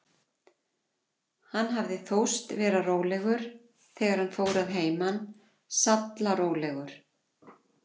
Hann hafði þóst vera rólegur, þegar hann fór að heiman, sallarólegur.